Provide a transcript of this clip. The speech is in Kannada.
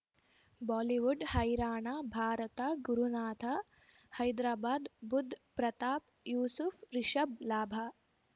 ಬಾಲಿವುಡ್ ಹೈರಾಣ ಭಾರತ ಗುರುನಾಥ ಹೈದ್ರಾಬಾದ್ ಬುಧ್ ಪ್ರತಾಪ್ ಯೂಸುಫ್ ರಿಷಬ್ ಲಾಭ